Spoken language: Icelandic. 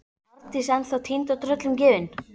Arndís ennþá týnd og tröllum gefin.